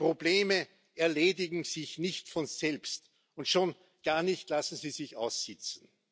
Die Probleme erledigen sich nicht von selbst, und schon gar nicht lassen sie sich aussitzen.